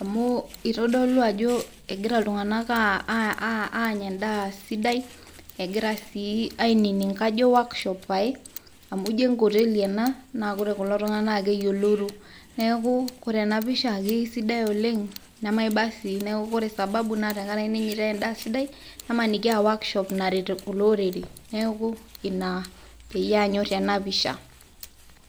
amu eitadolu ajo egira iltung'ana aanya endaa sidai, egira sii ainining'u workshop pae, amu ijo enkoteli ena naa ore kulo tung'ana naa keyioloro, neaku Kore ena pisha keaisidai oleng' nemaiba sii neaku Kore sababu nai tenkara ake keinyaitai endaa sidai nemaaniki e workshop naret kulo orere. Neaku Ina peiyee anymore ena pisha.